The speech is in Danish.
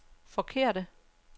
forkerte